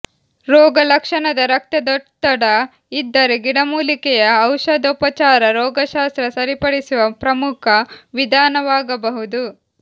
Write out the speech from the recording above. ರೋಗಲಕ್ಷಣದ ರಕ್ತದೊತ್ತಡ ಇದ್ದರೆ ಗಿಡಮೂಲಿಕೆಯ ಔಷಧೋಪಚಾರ ರೋಗಶಾಸ್ತ್ರ ಸರಿಪಡಿಸುವ ಪ್ರಮುಖ ವಿಧಾನವಾಗಬಹುದು